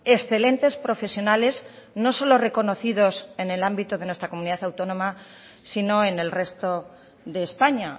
excelentes profesionales no solo reconocidos en el ámbito de nuestra comunidad autónoma sino en el resto de españa